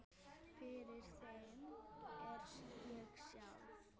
Fyrir þeim er ég sjálf